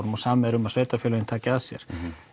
og samið er um að sveitafélögin taki að sér